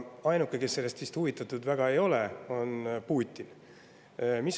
Ainuke, kes sellest vist väga huvitatud ei ole, on Putin.